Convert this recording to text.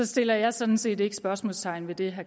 sætter jeg sådan set ikke spørgsmålstegn ved det